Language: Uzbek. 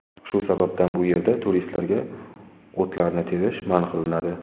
Shu sababdan bu yerda turistlarga o‘tlarni terish man qilinadi.